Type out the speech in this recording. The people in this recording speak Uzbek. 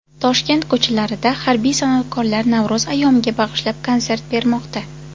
Toshkent ko‘chalarida harbiy san’atkorlar Navro‘z ayyomiga bag‘ishlab konsert bermoqda .